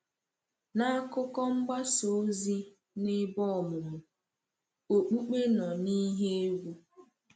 N’akụkọ mgbasa ozi na ebe ọmụmụ, okpukpe nọ n’ihe egwu.